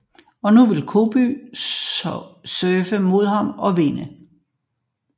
Og nu vil Cody surfe mod ham og vinde